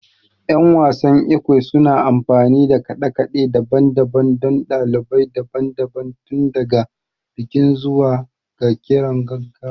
Yan wasan Ekwe suna amfani da kade-kade daban-daban don dalilai daban-daban, tun daga bikin zuwa ga kiran gaggawa